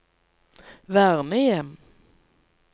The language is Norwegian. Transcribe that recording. vernehjem